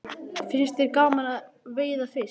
Finnst þér gaman að veiða fisk?